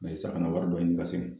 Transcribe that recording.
san ka na wari dɔ ɲini ka segin.